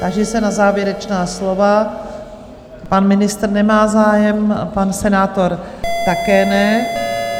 Táži se na závěrečná slova - pan ministr nemá zájem, pan senátor také ne.